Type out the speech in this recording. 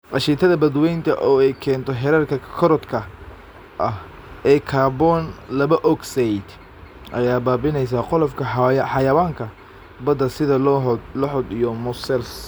Aashitada badweynta, oo ay keento heerarka korodhka ah ee kaarboon laba ogsaydh, ayaa baabi'inaysa qolofka xayawaanka badda sida lohod iyo mossels.